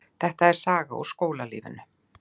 Þetta er saga úr skólalífinu.